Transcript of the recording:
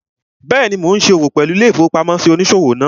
Bẹ́ẹ̀ni, mo n ṣe òwò pẹ̀lú ilé-ìfowópamósí òníṣòwò náà